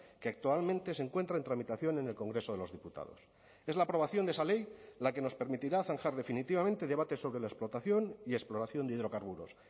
que actualmente se encuentra en tramitación en el congreso de los diputados es la aprobación de esa ley la que nos permitirá zanjar definitivamente debates sobre la explotación y exploración de hidrocarburos